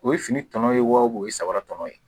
O ye fini tɔnɔ ye wa o ye saba tɔnɔ ye